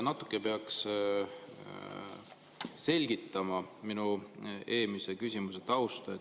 Natuke peaks selgitama minu eelmise küsimuse tausta.